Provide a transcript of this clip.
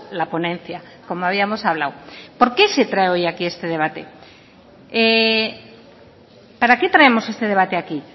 la ponencia como habíamos hablado por qué se trae hoy aquí este debate para qué traemos este debate aquí